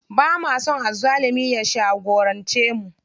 Bama son azzalumi ya shagorance mu.